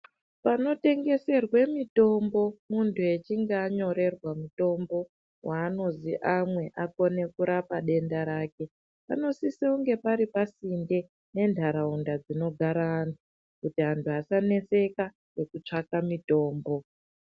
Pano tengeserwe mitombo muntu echinge anyorerwa mutombo wanozi amwe akone kurapa denda rake pano sise kunge pari pasinde ne ndaraunda dzino gara anhu kuti antu asa neseka neku tsvaka mitombo.